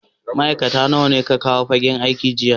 Ma'aikata nawa ka kawo fagen aiki jiya?